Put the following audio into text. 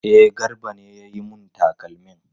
E, Garba ne ya yi mun takalmin.